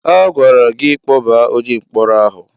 A gwara gị kpọbaa onye mkpọrọ ahụ!